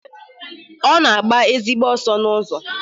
Ọ na-agba ezigbo ọsọ n'ụzọ.